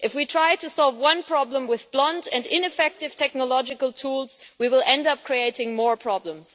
If we try to solve one problem with blunt and ineffective technological tools we will end up creating more problems.